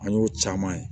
An y'o caman ye